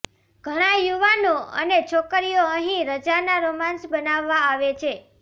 ઘણાં યુવાનો અને છોકરીઓ અહીં રજાના રોમાંસ બનાવવા આવે છે